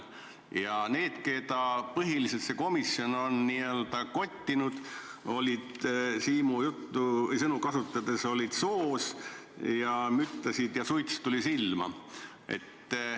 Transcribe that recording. Ja need, keda põhiliselt see komisjon on n-ö kottinud, olid Siimu sõnu kasutades soos, müttasid seal ja suits tuli silma.